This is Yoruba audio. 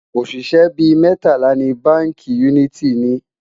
oṣiṣẹ bí mẹtala ní bánkì uniti ní